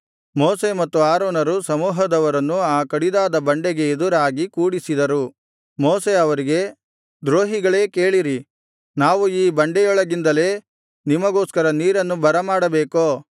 ಮೋಶೆ ಮತ್ತು ಆರೋನರು ಸಮೂಹದವರನ್ನು ಆ ಕಡಿದಾದ ಬಂಡೆಗೆ ಎದುರಾಗಿ ಕೂಡಿಸಿದರು ಮೋಶೆ ಅವರಿಗೆ ದ್ರೋಹಿಗಳೇ ಕೇಳಿರಿ ನಾವು ಈ ಬಂಡೆಯೊಳಗಿಂದಲೇ ನಿಮಗೋಸ್ಕರ ನೀರನ್ನು ಬರಮಾಡಬೇಕೋ